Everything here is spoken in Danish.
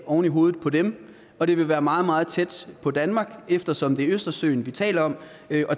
oven i hovedet på dem og det vil være meget meget tæt på danmark eftersom det er østersøen vi taler om